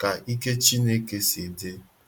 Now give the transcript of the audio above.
ka ike Chineke si di.